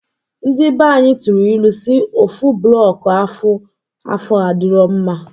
Ndi banyị tụrụ ilu si: ofu blọọk ofu afọ adirọ mma.